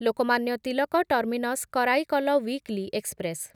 Lokmanya Tilak terminus Karaikal weekly express